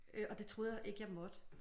Øh og det troede jeg ikke jeg måtte